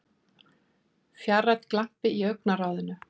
fjarrænn glampi í augnaráðinu.